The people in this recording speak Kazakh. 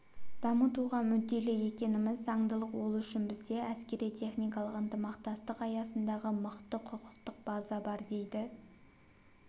дамытуға мүдделі екеніміз заңдылық ол үшін бізде әскери-техникалық ынтымақтастық аясындағы мықты құқықтық база бар дейді